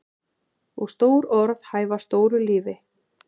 Og stór orð hæfa stóru lífi.